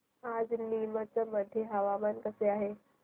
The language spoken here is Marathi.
आज नीमच मध्ये हवामान कसे आहे